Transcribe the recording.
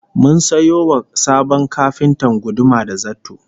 Mun sayo wa sabon kafintan guduma da zarto